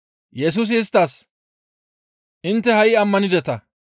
Yesusi isttas, «Intte ha7i ammanideta;